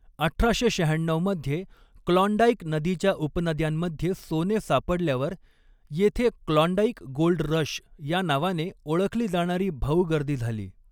अठराशे शहाण्णऊ मध्ये क्लॉन्डाइक नदीच्या उपनद्यांमध्ये सोने सापडल्यावर येथे क्लॉन्डाइक गोल्ड रश या नावाने ओळखली जाणारी भाऊगर्दी झाली.